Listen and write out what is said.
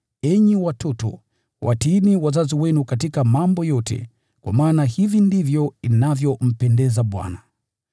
Enyi watoto, watiini wazazi wenu katika mambo yote, kwa maana hivi ndivyo inavyompendeza Bwana.